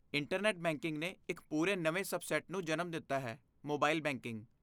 internet banking ਨੇ ਇੱਕ ਪੂਰੇ ਨਵੇਂ ਸਬਸੈੱਟ ਨੂੰ ਜਨਮ ਦਿੱਤਾ ਹੈ ਮੋਬਾਈਲ ਬੈਂਕਿੰਗ